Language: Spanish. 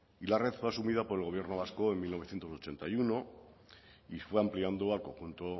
y la red fue asumida por el gobierno vasco en mil novecientos ochenta y uno y fue ampliando al conjunto